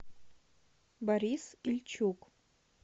борис ильчук